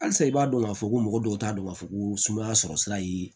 Halisa i b'a dɔn k'a fɔ ko mɔgɔ dɔw t'a dɔn k'a fɔ ko sumaya sɔrɔ sira ye